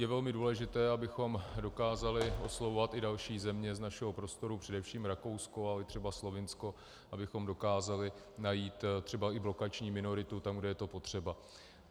Je velmi důležité, abychom dokázali oslovovat i další země z našeho prostoru, především Rakousko, ale třeba i Slovinsko, abychom dokázali najít třeba i blokační minoritu tam, kde je to potřeba.